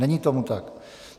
Není tomu tak.